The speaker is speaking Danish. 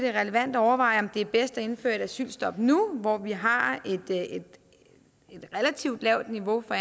er relevant at overveje om det er bedst at indføre et asylstop nu hvor vi har et relativt lavt niveau for